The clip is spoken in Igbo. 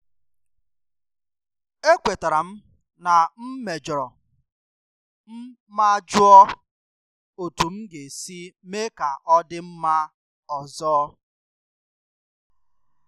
E kwetere m na m mejọrọ m ma jụọ otu m ga-esi mee ka ọ dị mma ọzọ